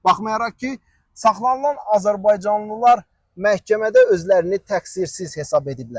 Baxmayaraq ki, saxlanılan azərbaycanlılar məhkəmədə özlərini təqsirsiz hesab ediblər.